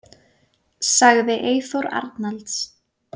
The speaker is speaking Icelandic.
Sagði Eyþór Arnalds.